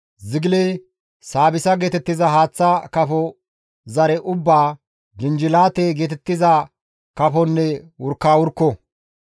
zigile, saabissa geetettiza haaththa kafo zare ubbaa, jinjilaate geetettiza kafonne wurkawurkko.